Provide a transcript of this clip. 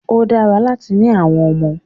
Ó dára láti ni àwọn ọmọ.